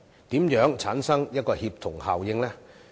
如何產生協同效應？